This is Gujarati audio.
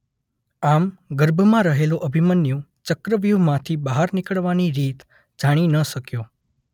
આમ ગર્ભમાં રહેલો અભિમન્યુ ચક્રવ્યુહમાંથી બહાર નીકળવાની રીત જાણી ન શક્યો.